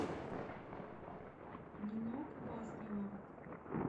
нинок васнева